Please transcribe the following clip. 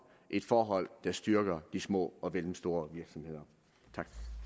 et forhold der styrker de små og mellemstore virksomheder